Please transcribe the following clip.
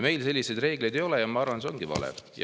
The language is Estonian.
Meil selliseid reegleid ei ole ja ma arvan, et see on vale.